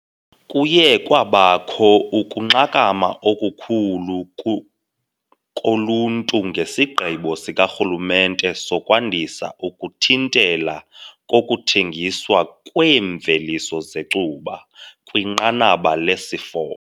Kuye kwabakho ukunxakama okukhulu koluntu ngesigqibo sikarhulumente sokwandisa ukuthintela kokuthengiswa kweemveliso zecuba kwinqanaba lesi-4.